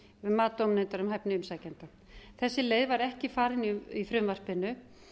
um mat dómnefndar um hæfni umsækjenda þessi leið var ekki farin í frumvarpinu